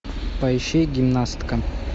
поищи гимнастка